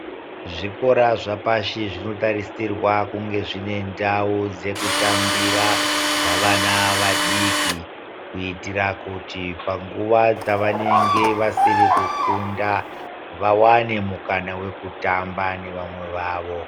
Zvikora zvapashi zvinotarisirwa kunge zvine ndau yekutambira dzavana vadiki kuitira kuti panguva dzavanenge vasiri kufunda vawane mukana wekutamba nevamwe vavo.